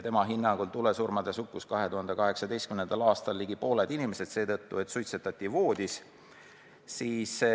Tema sõnul surid 2018. aastal tulesurma ligi pooled inimesed seetõttu, et nad suitsetasid voodis.